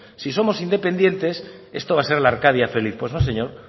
y somos independientes esto va a ser la arcadia feliz pues no señor